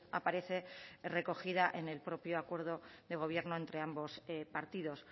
aparece recogida en el propio acuerdo de gobierno entre ambos partidos